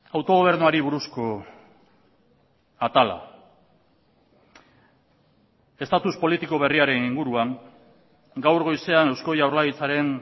autogobernuari buruzko atala estatus politiko berriaren inguruan gaur goizean eusko jaurlaritzaren